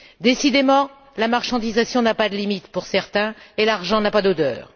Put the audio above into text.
Décidément, la marchandisation n'a pas de limites pour certains et l'argent n'a pas d'odeur.